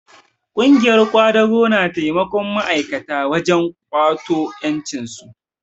Ƙungiyar ƙwadago na taimakon ma'aikata wajen ƙwato ƴancinsu